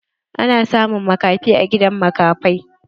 Ana samun makafi a gidan makafai.